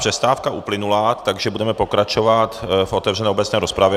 Přestávka uplynula, takže budeme pokračovat v otevřené obecné rozpravě.